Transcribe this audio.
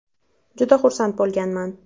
Juda xursand bo‘lganman.